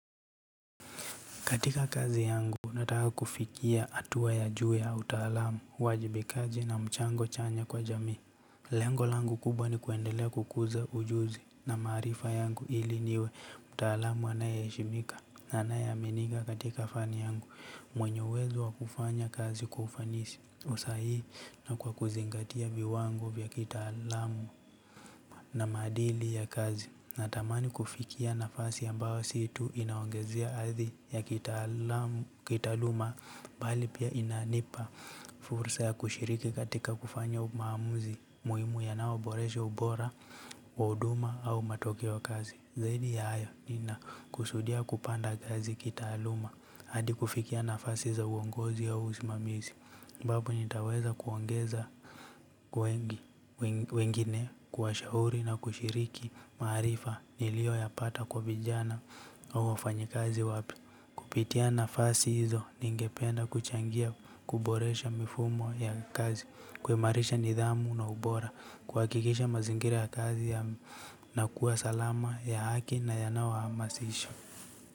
Katika kazi yangu, nataka kufikia hatua ya juu ya utalaamu, uwajibikaji na mchango chanya kwa jamii. Lengo langu kubwa ni kuendelea kukuza ujuzi na maarifa yangu ili niwe mtalaamu anayeheshimika na anayeaminiwa katika fani yangu. Mwenye uwezo wa kufanya kazi kwa ufanisi, kwa usahihi na kwa kuzingatia viwango vya kitaalamu. Na maadili ya kazi na tamani kufikia nafasi ambao si tu inaongezea hadhi ya kitaaluma bali pia inanipa fursa ya kushiriki katika kufanya maamuzi muhimu yanao boresha ubora kwa huduma au matokeo wa kazi zaidi ya hayo ninakusudia kupanda kazi kitaaluma hadi kufikia nafasi za uongozi ya usimamizi ambaponitaweza kuongeza kwa wengine kuwashahuri na kushiriki maarifa nilioyapata kwa vijana au wafanyi kazi wapya. Kupitia nafasi hizo ningependa kuchangia kuboresha mifumo ya kazi, kuimarisha nidhamu na ubora, kuhakikisha mazingira ya kazi ya na kuwa salama ya haki na yanaohamasisha.